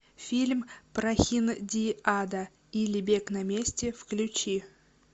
фильм прохиндиада или бег на месте включи